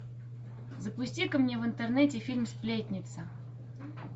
запусти ка мне в интернете фильм сплетница